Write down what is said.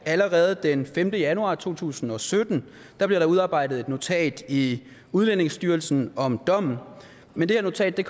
allerede den femte januar to tusind og sytten blev udarbejdet et notat i udlændingestyrelsen om dommen men det notat er